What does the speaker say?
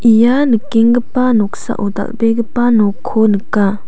ia nikenggipa noksao dal·begipa nokko nika.